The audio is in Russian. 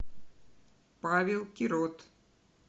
павел кирот